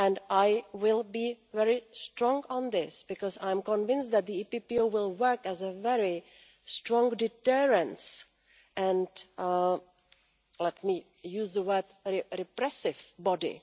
I will be very strong on this because I am convinced that the EPPO will work as a very strong deterrent and, let me use the word, repressive